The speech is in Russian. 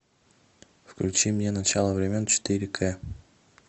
включи мне начало времен четыре к